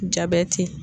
Jabɛti